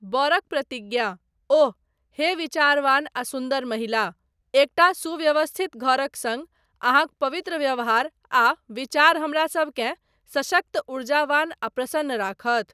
बरक प्रतिज्ञा, ओह! हे विचारवान आ सुन्दर महिला, एकटा सुव्यवस्थित घरक सङ्ग अहाँक पवित्र व्यवहार आ विचार हमरासबकेँ सशक्त, ऊर्जावान आ प्रसन्न राखत।